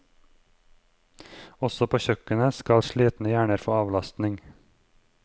Også på kjøkkenet skal slitne hjerner få avlastning.